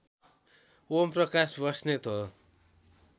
ओमप्रकाश बस्नेत हो